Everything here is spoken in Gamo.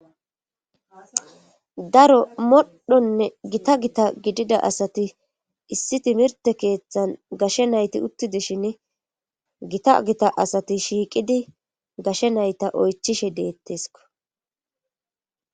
daro modhonne gita gita gidida asati issi timirte keeththan gashe nayti uttidishin gita gita asati shiiqidi gashe nayta oychishe deettesko